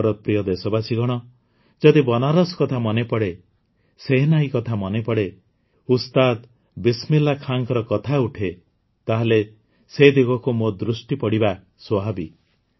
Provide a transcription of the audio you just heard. ମୋର ପ୍ରିୟ ଦେଶବାସୀଗଣ ଯଦି ବନାରସ୍ କଥା ପଡ଼େ ସେହେନାଈ କଥା ପଡ଼େ ଉସ୍ତାଦ ବିସମିଲ୍ଲାହ୍ ଖାଁଙ୍କ କଥା ଉଠେ ତାହେଲେ ସେ ଦିଗକୁ ମୋ ଦୃଷ୍ଟି ପଡ଼ିବା ସ୍ୱାଭାବିକ